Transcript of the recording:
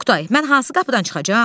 Oqtay, mən hansı qapıdan çıxacam?